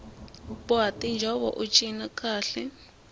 boha tinjhovo ut cina kahle